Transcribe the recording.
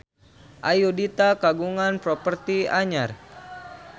Ayudhita kagungan properti anyar